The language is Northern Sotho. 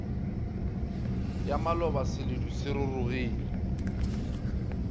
ya maloba seledu se rurugile